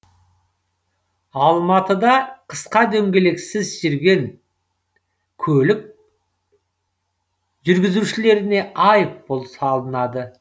алматыда қысқа дөңгелексіз жүрген көлік жүргізушілеріне айыппұл салынады